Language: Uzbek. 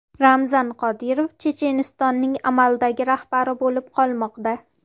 Ramzan Qodirov Chechenistonning amaldagi rahbari bo‘lib qolmoqda.